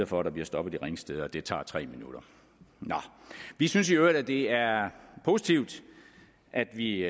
for at der bliver stoppet i ringsted og det tager så tre minutter vi synes i øvrigt at det er positivt at vi